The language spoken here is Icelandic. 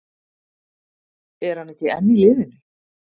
Er hann ekki enn í liðinu?